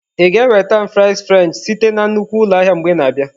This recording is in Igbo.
Ị ga-enweta m fries french site na nnukwu ụlọ ahịa mgbe ị na-abịa?